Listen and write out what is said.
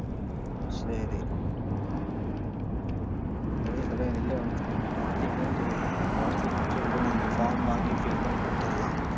சரி, கார்த்தி எங்கன்னு தெரியலை கார்த்தியைப் பிடிச்சு எப்படியாவது அந்த form வாங்கி fill பண்ணி கொடுத்துடலாம்.